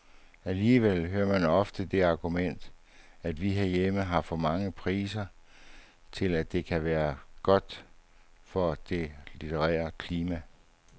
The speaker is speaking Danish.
Alligevel hører man ofte det argument, at vi herhjemme har for mange priser til at det kan være godt for det litterære klima.